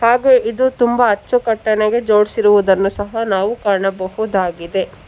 ಹಾಗೆ ಇದು ತುಂಬಾ ಅಚ್ಚುಕಟ್ಟನಾಗಿ ಜೋಡ್ಸಿರುವುದನ್ನು ಸಹ ನಾವು ಕಾಣಬಹುದಾಗಿದೆ.